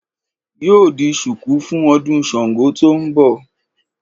Yóò di sùkú fún ọdún Sàngó tó n bọ̀